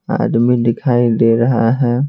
आदमी दिखाई दे रहा है।